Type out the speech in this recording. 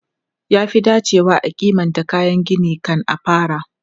Ya fi dacewa a kimanta kayan gini kan a fara.